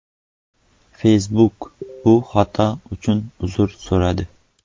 Facebook bu xato uchun uzr so‘radi.